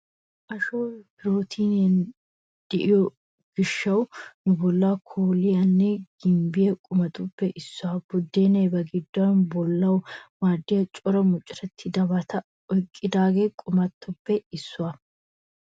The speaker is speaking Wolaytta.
Ashoy pirootiiniyaara de'iyo gishshawu nu bolla kooliyaanne gimbbiyaa qumatuppe issuwaa. Buddeenay ba giddon bollawu maaddiya cora mucurettidabata oyqqida qumatuppe issuwaa.